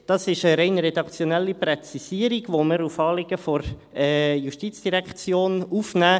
Das ist eine rein redaktionelle Präzisierung, die wir als Anliegen der Justizdirektion aufnehmen.